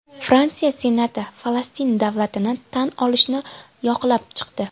Fransiya Senati Falastin davlatini tan olishni yoqlab chiqdi.